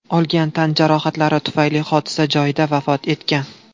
olgan tan jarohatlari tufayli hodisa joyida vafot etgan.